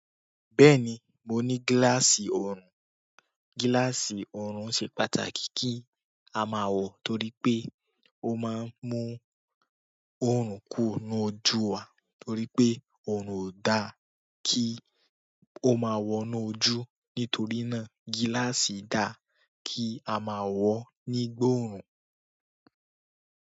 Bẹ́ẹ̀ni, mo ní gíláàsì oorun. Gíláàsì oorun ṣe pàtàkì kí a máa wọ torí pé ó máa ń mú oorun kùro nínú ojú wa torí pé oorun ò dá kí ó máa wọ inú ojú. Nítorí náà gíláàsì dà kí a máa wọ nígbà ooru n.